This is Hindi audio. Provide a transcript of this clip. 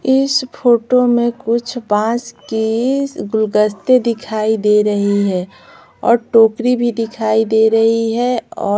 इस फोटो में कुछ बांस की गुलगस्ते दिखाई दे रही है और टोकरी भी दिखाई दे रही है और --